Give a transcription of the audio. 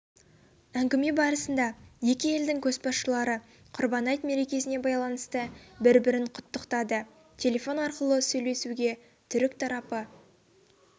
әңгіме барысында екі елдің көшбасшылары құрбан айт мерекесіне байланысты бір-бірін құттықтады телефон арқылы сөйлесуге түрік тарапы